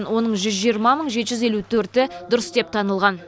оның жүз жиырма мың жеті жүз елу төрті дұрыс деп танылған